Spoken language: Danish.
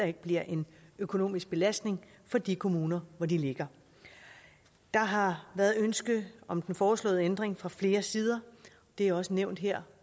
ikke bliver en økonomisk belastning for de kommuner hvor de ligger der har været et ønske om den foreslåede ændring fra flere sider det er også nævnt her